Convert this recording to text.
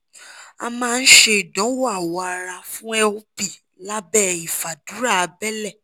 a máa ń ṣe ìdánwò awọ ara fún lp lábẹ́ ìfàdùrà abẹ́lé